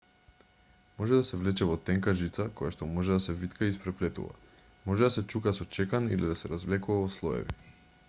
може да се влече во тенка жица којашто може да се витка и испреплетува може да се чука со чекан или да се развлекува во слоеви